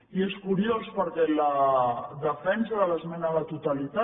i és curiós perquè la defensa de l’esmena a la totalitat